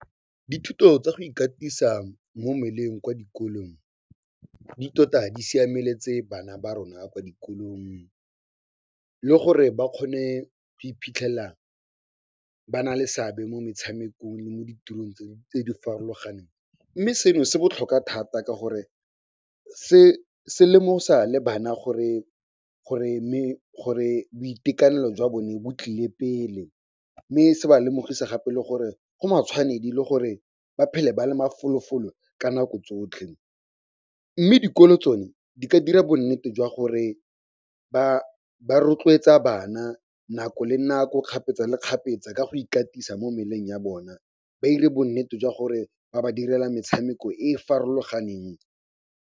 Dithuto tsa go ikatisa mo mmeleng kwa dikolong di tota di siameletse bana ba rona kwa dikolong le gore ba kgone go iphitlhela ba nale seabe mo metshamekong le mo ditirong tse di farologaneng. Mme seno se botlhokwa thata ka gore se lemosa le bana gore boitekanelo jwa bone bo tlile pele mme se ba lemogisa gape le gore go matshwanedi le gore ba phele ba le mafolofolo ka nako tsotlhe. Mme dikolo tsone di ka dira bonnete jwa gore ba rotloetsa bana nako le nako, kgapetsa le kgapetsa ka go ikatisa mo mmeleng ya bona ba 'ire bonnete jwa gore ba ba direla metshameko e e farologaneng.